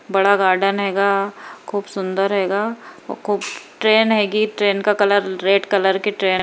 बड़ा गार्डन हेगा खूब सुंदर हेगा ओ खूब ट्रेन हेगी ट्रेन का कलर रेड कलर की ट्रेन --